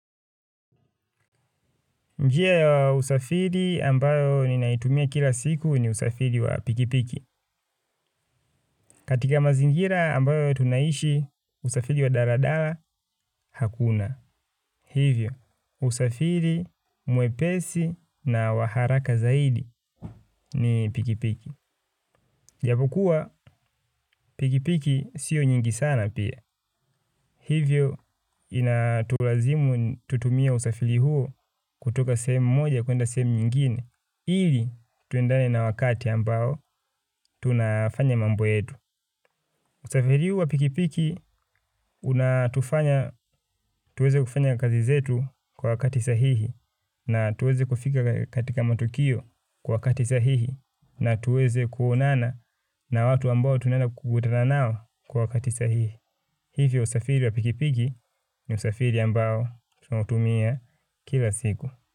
Njia ya usafiri ambayo ninaitumia kila siku ni usafiri wa pikipiki. Katika mazingira ambayo tunaishi usafiri wa daladala hakuna. Hivyo, usafiri mwepesi na wa haraka zaidi ni pikipiki. Japokuwa pikipiki siyo nyingi sana pia. Hivyo, inatulazimu tutumie usafiri huo kutoka sehemu moja kuenda sehemu nyingine. Ili tuendane na wakati ambao tunafanya mambo yetu. Usafiri huu wa pikipiki tuweze kufanya kazi zetu kwa wakati sahihi na tuweze kufika katika matukio kwa wakati sahihi na tuweze kuonana na watu ambao tunaenda kukutana nao kwa wakati sahihi. Hivyo usafiri wa pikipiki ni usafiri ambao tunautumia kila siku.